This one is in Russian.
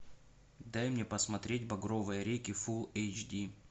дай мне посмотреть багровые реки фул эйч ди